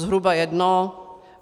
Zhruba jedno.